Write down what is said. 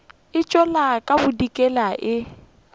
e tšwela ka bodikela e